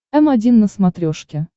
м один на смотрешке